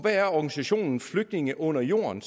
er organisationen flygtninge under jorden